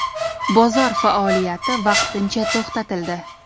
Bozor faoliyati vaqtincha to‘xtatildi.